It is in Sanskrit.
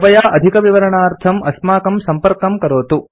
कृपया अधिकविवरणार्थम् अस्माकं संपर्कं करोतु